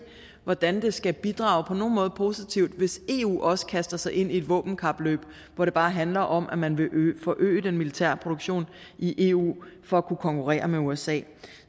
hvordan det skal bidrage positivt hvis eu også kaster sig ind i et våbenkapløb hvor det bare handler om at man vil forøge den militære produktion i eu for at kunne konkurrere med usa